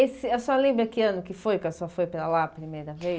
E a senhora lembra que ano que foi que a senhora foi para lá a primeira vez?